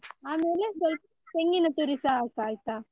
ಆಮೇಲೆ ಸ್ವಲ್ಪ ತೆಂಗಿನ ತುರಿಸ ಹಾಕು ಆಯ್ತಾ.